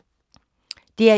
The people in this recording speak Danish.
DR1